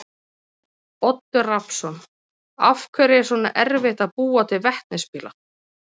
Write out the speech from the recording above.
Oddur Rafnsson: Af hverju er svona erfitt að búa til vetnisbíla?